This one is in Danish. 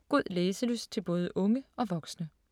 God læselyst til både unge og voksne.